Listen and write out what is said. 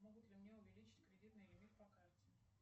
могут ли мне увеличить кредитный лимит по карте